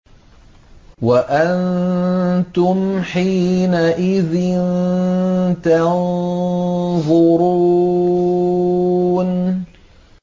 وَأَنتُمْ حِينَئِذٍ تَنظُرُونَ